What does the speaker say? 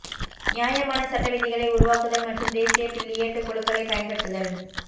நியாயமான சட்ட விதிகளை உருவாக்குதல் மற்றும் தேசிய பில்லியர்ட் குழுக்களைப் பயன்படுத்துதல்